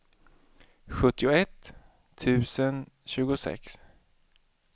sjuttioett tusen tjugosex